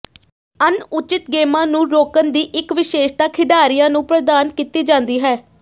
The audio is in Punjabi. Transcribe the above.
ਅਣਉਚਿਤ ਗੇਮਾਂ ਨੂੰ ਰੋਕਣ ਦੀ ਇੱਕ ਵਿਸ਼ੇਸ਼ਤਾ ਖਿਡਾਰੀਆਂ ਨੂੰ ਪ੍ਰਦਾਨ ਕੀਤੀ ਜਾਂਦੀ ਹੈ